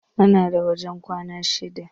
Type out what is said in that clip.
Muna da wajen kwana shida.